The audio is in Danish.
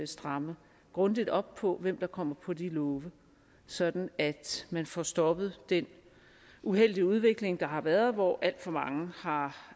stramme grundigt op på hvem der kommer på de love sådan at man får stoppet den uheldige udvikling der har været hvor alt for mange har